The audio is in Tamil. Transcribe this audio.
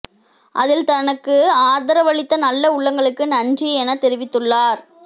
அதில் தனக்கு ஆதரவளித்த நல்ல உள்ளங்களுக்கு நன்றி என தெரிவித்துள்ளார்